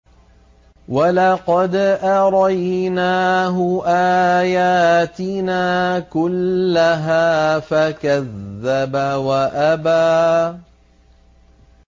وَلَقَدْ أَرَيْنَاهُ آيَاتِنَا كُلَّهَا فَكَذَّبَ وَأَبَىٰ